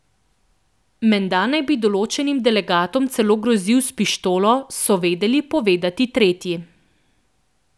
Menda naj bi določenim delegatom celo grozil s pištolo, so vedeli povedati tretji.